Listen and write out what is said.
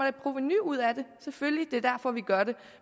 et provenu ud af det selvfølgelig det er derfor vi gør det